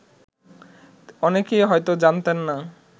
অনেকেই হয়ত জানতেন না